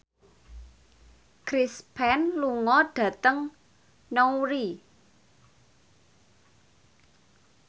Chris Pane lunga dhateng Newry